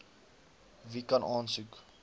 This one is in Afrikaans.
wie kan aansoek